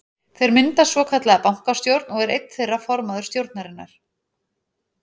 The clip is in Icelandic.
Þeir mynda svokallaða bankastjórn og er einn þeirra formaður stjórnarinnar.